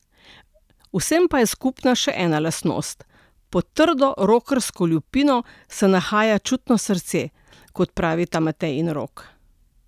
Vsem pa je skupna še ena lastnost: "Pod trdo rokersko lupino se nahaja čutno srce," kot pravita Matej in Rok.